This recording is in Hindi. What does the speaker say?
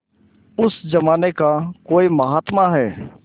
उस जमाने का कोई महात्मा है